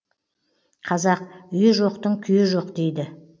қазақ үйі жоқтың күйі жоқ дейді